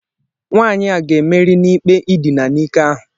Nwanyị a ga-emeri n'ikpe idina n'ike ahụ.